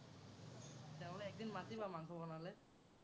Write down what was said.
তেতিয়া হ'লে একদিন মাতিবা, মাংস বনালে।